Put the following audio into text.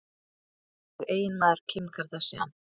Hver er eiginmaður Kim Kardashian?